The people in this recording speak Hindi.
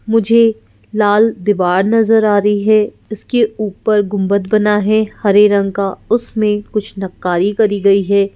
मुझे लाल दीवार नजर आ रही है इसके ऊपर गुंबद बना है हरे रंग का उसमें कुछ नक्कारी करी गई है।